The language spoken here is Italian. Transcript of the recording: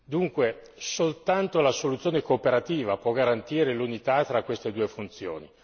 Dunque, soltanto la soluzione cooperativa può garantire l'unità tra queste due funzioni.